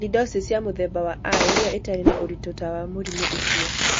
Sialidosis ya mũthemba wa I nĩyo ĩtarĩ na ũritũ ta wa mũrimũ ũcio.